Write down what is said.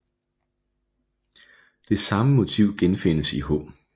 Det samme motiv genfindes i H